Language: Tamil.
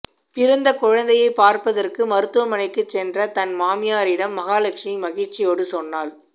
பிறந்த குழந்தையை பார்ப்பதற்கு மருத்துவமனைக்குச் சென்ற தன் மாமியாரிடம் மகாலெட்சுமி மகிழ்ச்சியோடு சொன்னாள்